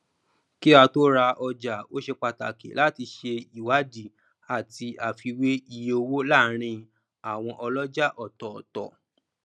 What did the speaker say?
kí á tó ra ọjà ó se pàtàkì láti se iwadi àti àfiwé iye owó láàrin àwọn ọlọjà ọtọtọ